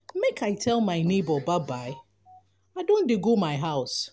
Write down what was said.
make i tell my nebor bye-bye i don dey go my house.